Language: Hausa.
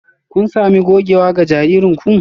Kun sami gogewa ga jaririn ku?